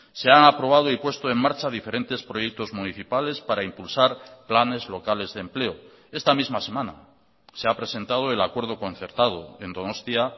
se han aprobado y puesto en marcha diferentes proyectos municipales para impulsar planes locales de empleo esta misma semana se ha presentado el acuerdo concertado en donostia